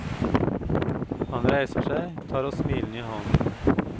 Han reiser seg, tar oss smilende i hånden.